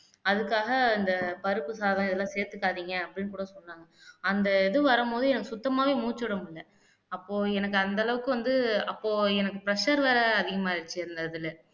அதுக்காக இந்த பருப்பு சாதம் இதெல்லாம் சேர்த்துக்காதீங்க அப்படின்னு கூட சொன்னாங்க அந்த இது வரும்போது எனக்கு சுத்தமாவே மூச்சு விட முடியலை அப்போ எனக்கு அந்த அளவுக்கு வந்து அப்போ எனக்கு pressure வேற அதிகமாயிருச்சு அந்த இதுல